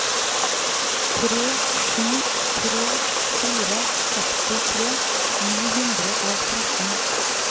tre sju tre fire sekstitre ni hundre og tretten